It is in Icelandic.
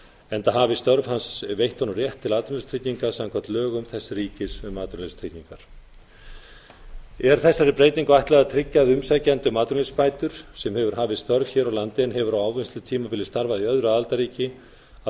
enda hafi störf hans veitt honum rétt til atvinnuleysistrygginga samkvæmt lögum þess ríkis um atvinnuleysistryggingar er þessari breytingu ætlað að tryggja að umsækjandi um atvinnuleysisbætur sem hefur hafið störf hér á landi en hefur á ávinnslutímabili starfað í öðru aðildarríki að